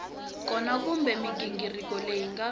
kona kumbe mighingiriko leyi nga